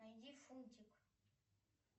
найди фунтик